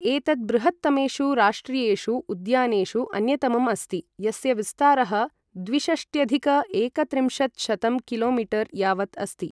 एतत् बृहत्तमेषु राष्ट्रियेषु उद्यानेषु अन्यतमम् अस्ति, यस्य विस्तारः द्विषष्ट्यधिक एकत्रिंशत्शतं कि.मी. यावत् अस्ति।